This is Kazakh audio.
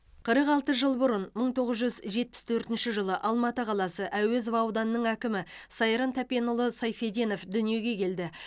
қырық алты жыл бұрын бір мың тоғыз жүз жетпіс төртінші жылы алматы қаласы әуезов ауданының әкімі сайран тәпенұлы сайфеденов дүниеге келді